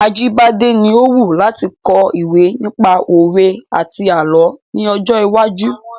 Ajíbádẹ́ ni ó wù láti kọ ìwé nípa òwe àti àlọ́ ní ọjọ́ iwájú.